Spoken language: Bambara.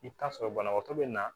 I bɛ taa sɔrɔ banabaatɔ bɛ na